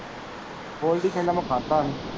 ਗੋਲਡੀ ਕਹਿੰਦਾ ਮੈਂ ਖਾਦਾ ਹੀ।